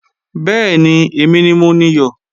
Bẹ́ẹ̀ni, èmi ni mo niyọ̀